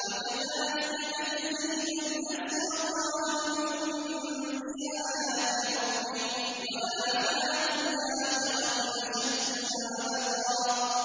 وَكَذَٰلِكَ نَجْزِي مَنْ أَسْرَفَ وَلَمْ يُؤْمِن بِآيَاتِ رَبِّهِ ۚ وَلَعَذَابُ الْآخِرَةِ أَشَدُّ وَأَبْقَىٰ